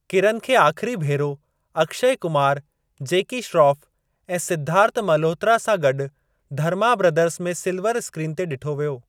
किरन खे आख़िरी भेरो अक्षय कुमार जैकी श्रोफ ऐं सिद्धार्थ मल्होत्रा सां गॾु धर्मा बिरादर्ज़ में सिलवर स्क्रीन ते ॾिठो वियो।